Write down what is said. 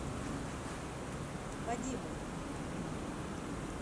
вадиму